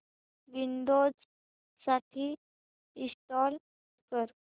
Windows साठी install कर